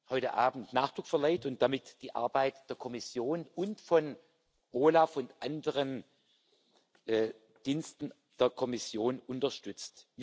heute Abend Nachdruck verleiht und damit die Arbeit der Kommission und von OLAF und anderen Diensten der Kommission unterstützt.